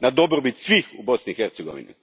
na dobrobit svih u Bosni i Hercegovini.